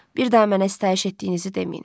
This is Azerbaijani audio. Bir daha mənə sitayiş etdiyinizi deməyin.